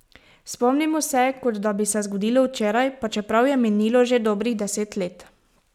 Spomnimo se, kot da bi se zgodilo včeraj, pa čeprav je minilo že dobrih deset let.